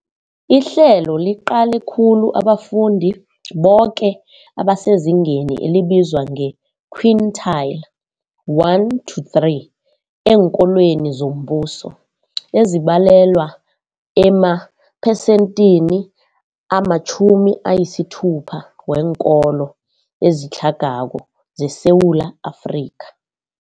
Ihlelo liqale khulu abafundi boke abasezingeni elibizwa nge-quintile 1-3 eenkolweni zombuso, ezibalelwa emaphesenthini 60 weenkolo ezitlhagako zeSewula Afrika.